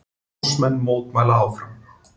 Námsmenn mótmæla áfram